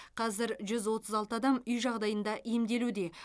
қазір жүз отыз алты адам үй жағдайында емделуде